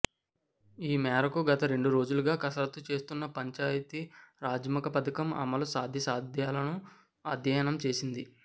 ఈ మేరకు గత రెండు రోజులుగా కసరత్తు చేస్తున్న పంచాయతీరాజ్శాఖ పథకం అమలు సాధ్యాసాధ్యాలను అధ్యయనం చేసింది